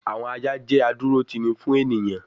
àwọn ajá jẹ́ adúrótini fún ènìyàn